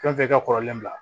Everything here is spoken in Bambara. Fɛn fɛn i ka kɔrɔlen bila